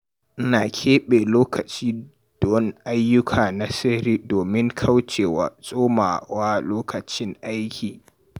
Ina keɓe lokaci don ayyuka na sirri domin kauce wa tsoma wa lokacin aiki.